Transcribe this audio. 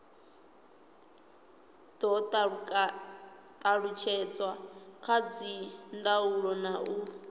do talutshedzwa kha dzindaulo u